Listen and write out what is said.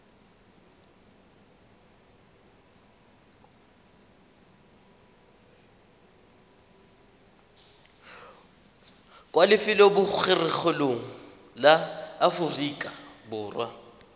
kwa lefelobogorogelong la aforika borwa